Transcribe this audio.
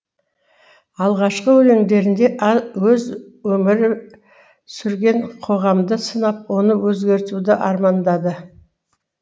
алғашқы өлеңдерінде өзі өмірі сүрген қоғамды сынап оны өзгертуді армандады